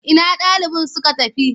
Ina ɗaliban suka tafi?